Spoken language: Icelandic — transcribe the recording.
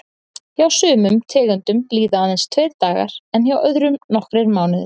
Hjá sumum tegundum líða aðeins tveir dagar en hjá öðrum nokkrir mánuðir.